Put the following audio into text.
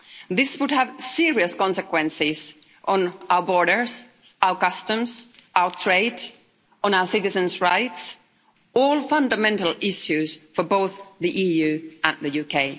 This would have serious consequences on our borders, our customs, our trade, on our citizens' rights, all fundamental issues for both the EU and the UK.